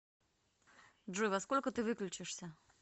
джой во сколько ты выключишься